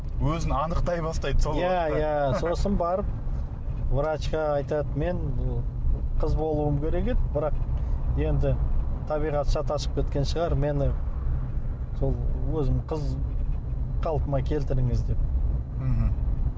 өзін анықтай бастайды иә иә сосын барып врачқа айтады мен қыз болуым керек еді бірақ енді табиғат шатасып кеткен шығар мені сол өзім қыз қалпыма келтіріңіз деп мхм